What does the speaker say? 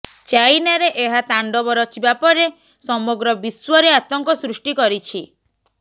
ଚାଇନାରେ ଏହା ତାଣ୍ଡବ ରଚିବା ପରେ ସମଗ୍ର ବିଶ୍ୱରେ ଆତଙ୍କ ସୃଷ୍ଟି କରିଛି